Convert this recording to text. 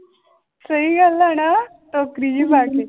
ਸਹੀ ਗੱਲ ਹੈ ਨਾ ਟੋਕਰੀ ਜਿਹੀ ਪਾ ਕੇ।